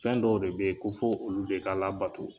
Fɛn dɔw de bɛ ye ko fɔ olu de ka labato.